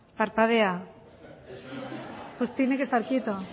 pues tiene que estar quieto